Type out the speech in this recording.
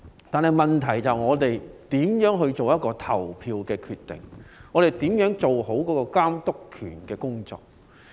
但問題是我們如何作出投票決定，如何做好監督的工作。